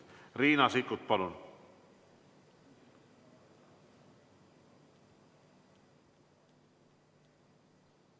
Riina Sikkut, palun!